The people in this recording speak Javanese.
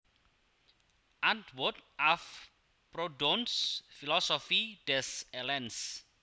Antwort auf Proudhons Philosophie des Elends